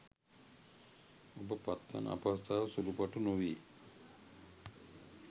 ඔබ පත්වන අපහසුතාවය සුළුපටු නොවේ.